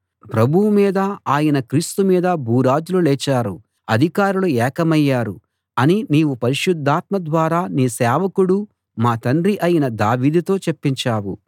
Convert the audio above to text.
ప్రభువు మీదా ఆయన క్రీస్తు మీదా భూరాజులు లేచారు అధికారులు ఏకమయ్యారు అని నీవు పరిశుద్ధాత్మ ద్వారా నీ సేవకుడూ మా తండ్రీ అయిన దావీదుతో చెప్పించావు